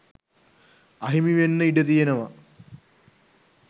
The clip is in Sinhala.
අහිමිවෙන්න ඉඩ තියෙනවා